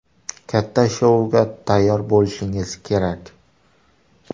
Katta shouga tayyor bo‘lishingiz kerak.